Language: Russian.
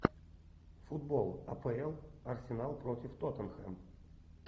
футбол апл арсенал против тоттенхэм